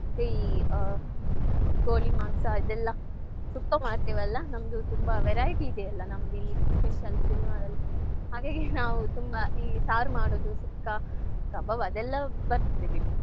ಈ ಆ ಕೋಳಿಮಾಂಸ ಇದೆಲ್ಲಾ ಸುಕ್ಕ ಮಾಡ್ತೇವಲ್ಲ ನಮ್ದು ತುಂಬಾ variety ಇದೆಯಲ್ಲ ನಮ್ದಿಲ್ಲಿ special ತುಳುನಾಡಲ್ಲಿ ಹಾಗಾಗಿ ನಾವು ತುಂಬಾ ಈ ಸಾರು ಮಾಡೋದು ಸುಕ್ಕ ಕಬಾಬ್ ಅದೆಲ್ಲ ಬರ್ತದೆ ಬಿಡಿ.